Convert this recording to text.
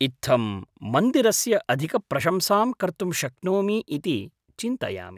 इत्थं मन्दिरस्य अधिकप्रशंसां कर्तुं शक्नोमि इति चिन्तयामि।